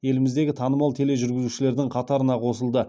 еліміздегі танымал тележүргізушілердің қатарына қосылды